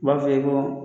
U b'a f'i ye ko